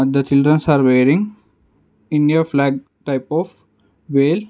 the childrens are wearing India flag type of whale.